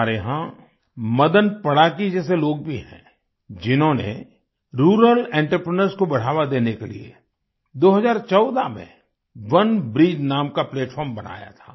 हमारे यहाँ मदन पडाकी जैसे लोग भी हैं जिन्होंने रूरल एंटरप्रेन्योर्स को बढ़ावा देने के लिए 2014 में ओनेब्रिज नाम का प्लैटफार्म बनाया था